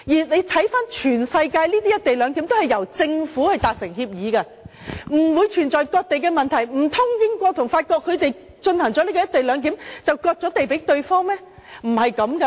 環顧全世界的"一地兩檢"均由政府達成協議，不存在割地的問題，難道英國和法國實施"一地兩檢"，便是割地予對方嗎？